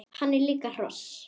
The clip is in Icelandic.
Hann er líka hross!